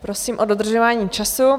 Prosím o dodržování času.